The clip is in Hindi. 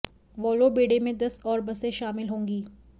वोल्वो बेड़े में दस और बसें शामिल होंगी